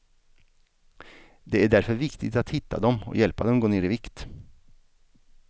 Det är därför viktigt att hitta dem och hjälpa dem gå ner i vikt.